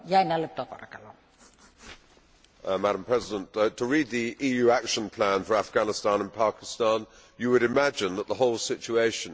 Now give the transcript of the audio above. Madam President, to read the EU action plan for Afghanistan and Pakistan, you would imagine that the whole situation depended on what the EU does.